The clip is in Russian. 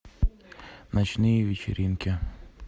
ночные вечеринки